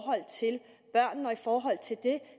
i forhold til det